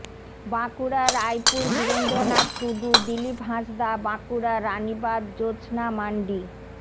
Bankura Raipur Birendranath Tudu Dilip Hansda Bankura Ranibandh Jyotsna mandi